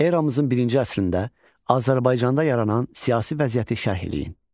Eramızın birinci əsrində Azərbaycanda yaranan siyasi vəziyyəti şərh eləyin.